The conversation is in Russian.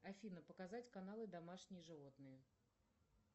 афина показать каналы домашние животные